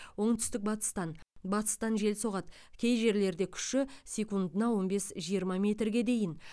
оңтүстік батыстан батыстан жел соғады кей жерлерде күші секундына он бес жиырма метрге дейін